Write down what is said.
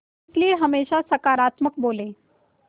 इसलिए हमेशा सकारात्मक बोलें